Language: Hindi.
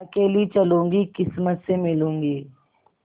अकेली चलूँगी किस्मत से मिलूँगी